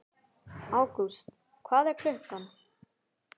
Ágúst, hvað er klukkan?